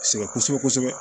Sɛgɛn kosɛbɛ kosɛbɛ